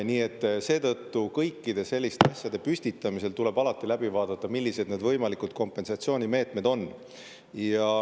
Nii et kõikide selliste püstitamisel tuleb alati läbi, millised need võimalikud kompensatsioonimeetmed on.